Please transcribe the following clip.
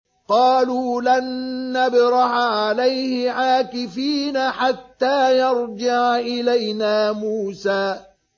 قَالُوا لَن نَّبْرَحَ عَلَيْهِ عَاكِفِينَ حَتَّىٰ يَرْجِعَ إِلَيْنَا مُوسَىٰ